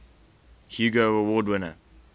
hugo award winner